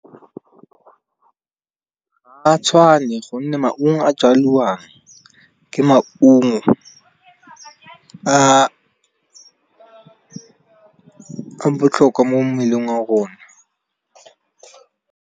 Ga tshwane gonne maungo a jalwang, ke maungo a botlhokwa mo mmeleng wa rona.